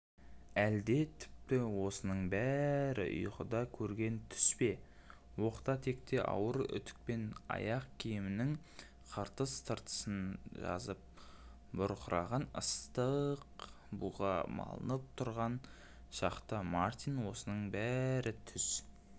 әлде тіпті осының бәрі ұйқыда көрген түс пе оқта-текте ауыр үтікпен ақ киімнің қыртыс-тыртысын жазып бұрқыраған ыстық буға малынып тұрған шақта мартин осының бәрі түс